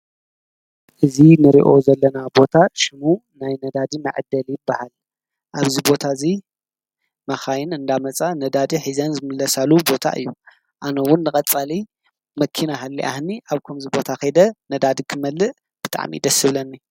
እዚ እንሪኦ ዘለና ቦታ ሽሙ ናይ ነዳዲ መዐደሊ ይበሃል። አብዚ ቦታ እዚ መካይን እናመፃ ነዳዲ ሒዘን ዝምለሳሉ ቦታ እዩ። አነ እዉን ንቀፃሊ መኪና ሃሊያትኒ አብከምዚቦታ ከይደ ነዳዲ ክመልእ ብጣዕሚ እዩ ደስ ዝብለኒ።